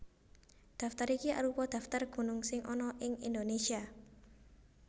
Daftar iki arupa daftar gunung sing ana ing Indonésia